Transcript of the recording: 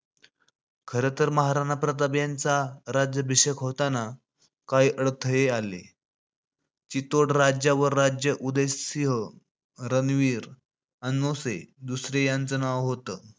खरतर महाराणा प्रताप यांचा राज्याभिषेक होताना काही अडथळे आले. चितोड राज्यावर राज्य उदयसिंह रणवीर अनोसे दुसरे यांचं होतं.